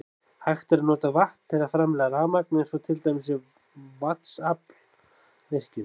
Hægt er að nota vatn til að framleiða rafmagn eins og til dæmis í vatnsaflsvirkjun.